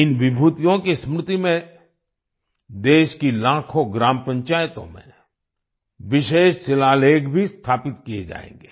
इन विभूतियों की स्मृति में देश की लाखों ग्राम पंचायतों में विशेष शिलालेख भी स्थापित किए जाएंगे